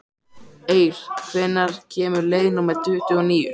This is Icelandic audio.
Eir, hvenær kemur leið númer tuttugu og níu?